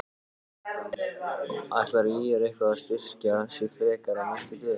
Ætlar ÍR eitthvað að styrkja sig frekar á næstu dögum?